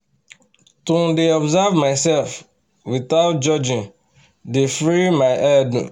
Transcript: to um dey observe myself wothout judging dey free my head um